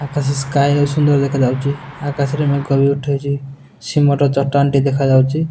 ଆକାଶ sky ଓ ସୁନ୍ଦର ଦେଖାଯାଉଛି ଆକାଶରେ ମେଘ ବି ଉଠେଇଛି ସିମଣ୍ଟ ଚଟାଣ ଟି ଦେଖା ଯାଉଛି।